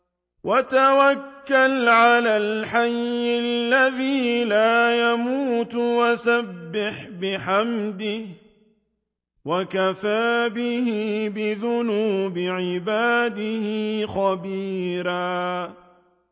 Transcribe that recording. وَتَوَكَّلْ عَلَى الْحَيِّ الَّذِي لَا يَمُوتُ وَسَبِّحْ بِحَمْدِهِ ۚ وَكَفَىٰ بِهِ بِذُنُوبِ عِبَادِهِ خَبِيرًا